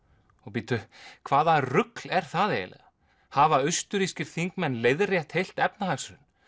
bíddu hvað rugl er það eiginlega hafa þingmenn leiðrétt heilt efnahagshrun